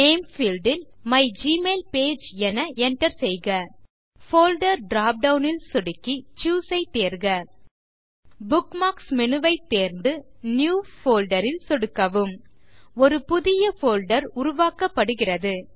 name field ல் my mail page என enter செய்க போல்டர் drop டவுன் ல் சொடுக்கி சூஸ் ஐத் தேர்க புக்மார்க்ஸ் மேனு ஐத் தேர்ந்து நியூ Folderல் சொடுக்கவும் ஒரு புதிய போல்டர் உருவாக்கப்படுகிறது